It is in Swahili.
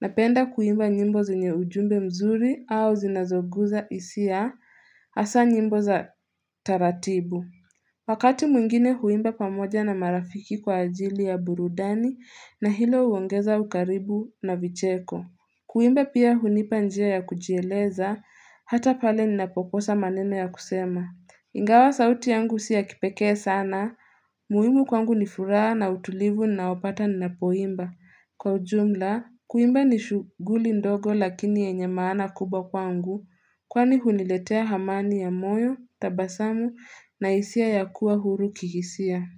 Napenda kuimba nyimbo zenye ujumbe mzuri au zinazoguza isia Hasa nyimbo za taratibu. Wakati mwingine huimba pamoja na marafiki kwa ajili ya burudani na hilo huongeza ukaribu na vicheko. Kuimba pia hunipa njia ya kujieleza, hata pale ninapokosa maneno ya kusema. Ingawa sauti yangu siya kipekee sana, muhimu kwangu ni furaha na utulivu ninao pata ninapo imba. Kwa ujumla, kuimba ni shuguli ndogo lakini yenye maana kubwa kwangu, kwani huniletea hamani ya moyo, tabasamu na hisia ya kuwa huru kihisia.